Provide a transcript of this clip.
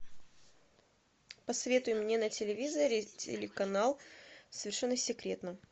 посоветуй мне на телевизоре телеканал совершенно секретно